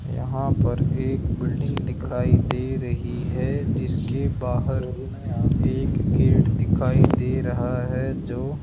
यहां पर एक बिल्डिंग दिखाई दे रही है जिसके बाहर एक गेट दिखाई दे रहा है जो --